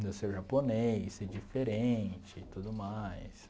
de eu ser japonês, ser diferente e tudo mais.